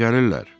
Hərdən gəlirlər.